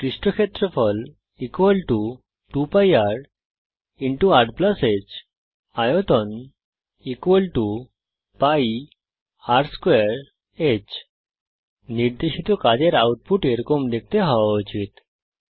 পৃষ্ঠ ক্ষেত্রফল 2 π rরের হ্ আয়তন π r2h নির্দেশিত কাজের আউটপুট এরকম দেখতে হওয়া উচিত